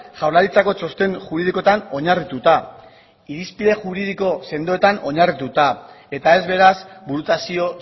jaurlaritzako txosten juridikoetan oinarrituta irizpide juridiko sendoetan oinarrituta eta ez beraz burutazio